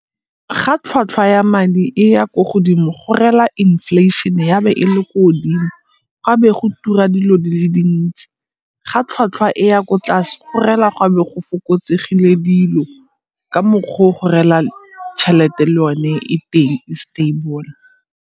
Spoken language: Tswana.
Ga tlhwatlhwa ya madi e ya ko godimo go reela inflation ya be e le ko godimo, ga be go tura dilo di le dintsi. Ga tlhwatlhwa e ya ko tlase go reela go a be go fokotsegile dilo ka mokgwa o go reela tšhelete le yone e teng e stable.